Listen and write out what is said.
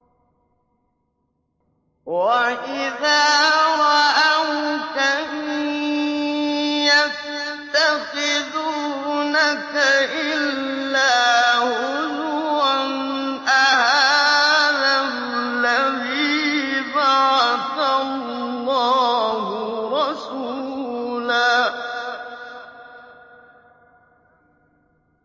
وَإِذَا رَأَوْكَ إِن يَتَّخِذُونَكَ إِلَّا هُزُوًا أَهَٰذَا الَّذِي بَعَثَ اللَّهُ رَسُولًا